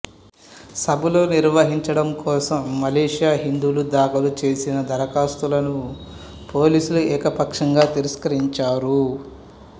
సభలు నిర్వహించడం కోసం మలేషియా హిందువులు దాఖలు చేసిన దరఖాస్తులను పోలీసులు ఏకపక్షంగా తిరస్కరించారు